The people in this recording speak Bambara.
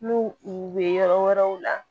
N'u u bɛ yɔrɔ wɛrɛw la